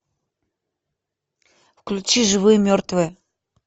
включи живые мертвые